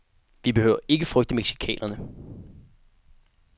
Vi behøver ikke frygte mexicanerne.